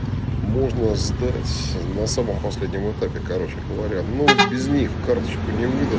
можно сдать на самом последнем этапе короче говоря ну без них карточку не выдад